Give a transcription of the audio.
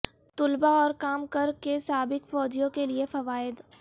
طلباء اور کام کر کے سابق فوجیوں کے لئے فوائد